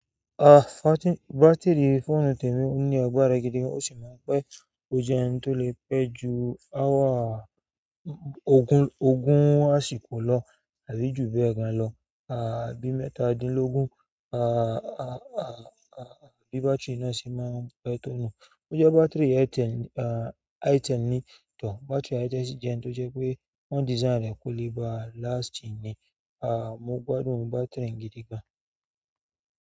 Ah, batiri fóònù tèmi o ní agbára gidi gan, ó sì máa ń pẹ́ o je oun to le pe ju hour ogun àsìkò lo tàbí ju bẹ́ẹ̀ lo. Àbí mẹ́tàdínlógún, à, à, à, àbí bátìrì náà ṣe máa ń pẹ́ tọ̀nu. Ó jẹ́ batiri Aitin, à, Aitin ni, tọ̀ batiri Aitin ṣì jẹ́ ẹni tó jẹ́ pé wọ́n dìsáìnì rẹ̀ kúlí ba lasìtì ni. À, mo gbádùn bàtiri gidi gan.